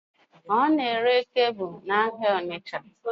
Ọ n'ere kebụl n'ahịa Ọnitsha